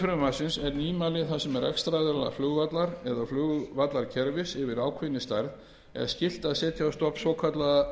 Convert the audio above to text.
frumvarpsins er nýmæli þar sem rekstraraðila flugvallar eða flugvallarkerfis yfir ákveðinni stærð er skylt að setja á stofn svokallaða